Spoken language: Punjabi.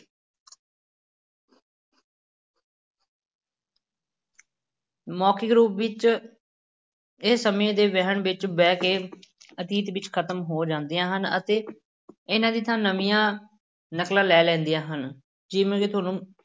ਮੌਖਿਕ ਰੂਪ ਵਿੱਚ ਇਹ ਸਮੇਂ ਦੇ ਵਹਿਣ ਵਿੱਚ ਵਹਿ ਕੇ ਅਤੀਤ ਵਿੱਚ ਖ਼ਤਮ ਹੋ ਜਾਂਦੀਆਂ ਹਨ ਅਤੇ ਇਹਨਾਂ ਦੀ ਥਾਂ ਨਵੀਂਆਂ ਨਕਲਾਂ ਲੈ ਲੈਂਦੀਆਂ ਹਨ, ਜਿਵੇਂ ਕਿ ਤੁਹਾਨੂੰ